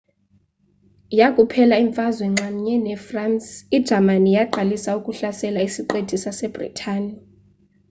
yakuphela imfazwe nxamnye nefransi ijamani yaqalisa ukuhlasela isiqithi sasebritane